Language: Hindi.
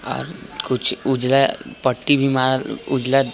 और कुछ उजाला पट्टी भी मारल उजला --